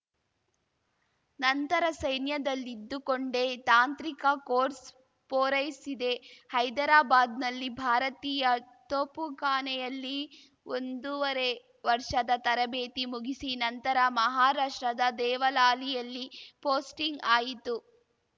ನಂತರ ಸೈನ್ಯದಲ್ಲಿದ್ದುಕೊಂಡೇ ತಾಂತ್ರಿಕ ಕೋರ್ಸ್‌ ಪೂರೈಸಿದೆ ಹೈದರಾಬಾದ್‌ನಲ್ಲಿ ಭಾರತೀಯ ತೋಪುಖಾನೆಯಲ್ಲಿ ಒಂದೂವರೆ ವರ್ಷದ ತರಬೇತಿ ಮುಗಿಸಿ ನಂತರ ಮಹಾರಾಷ್ಟ್ರದ ದೇವಲಾಲಿಯಲ್ಲಿ ಪೋಸ್ಟಿಂಗ್‌ ಆಯಿತು